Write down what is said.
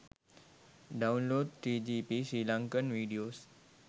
download 3gp sri lankan videos